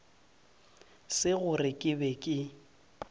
se gore ke be ke